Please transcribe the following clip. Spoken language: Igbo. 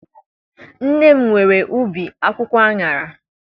Nne m nwere ubi akwụkwọ aṅara.